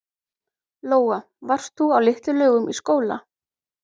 Lóa: Varst þú á Litlu-Laugum í skóla?